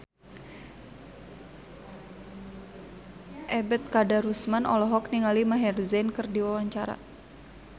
Ebet Kadarusman olohok ningali Maher Zein keur diwawancara